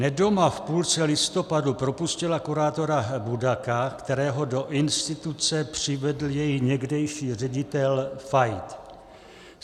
Nedoma v půlce listopadu propustila kurátora Budaka, kterého do instituce přivedl její někdejší ředitel Fajt.